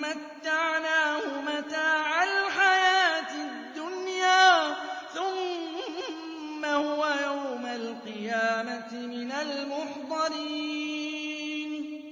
مَّتَّعْنَاهُ مَتَاعَ الْحَيَاةِ الدُّنْيَا ثُمَّ هُوَ يَوْمَ الْقِيَامَةِ مِنَ الْمُحْضَرِينَ